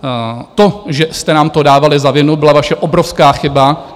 To, že jste nám to dávali za vinu, byla vaše obrovská chyba.